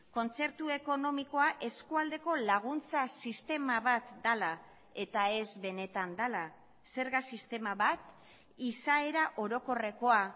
kontzertu ekonomikoa eskualdeko laguntza sistema bat dela eta ez benetan dela zerga sistema bat izaera orokorrekoa